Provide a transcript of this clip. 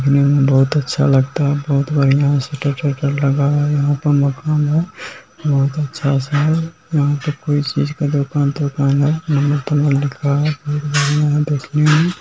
देखने में बहुत अच्छा लगता है बहुत बढ़िया है। शटर टटर लगा हुआ है यहां पर मकान है बहुत अच्छा सा। यहां पर कोई चीज का दुकान तोकान है। नंबर तमर लिखा है। बहुत बढ़िया है देखने मे --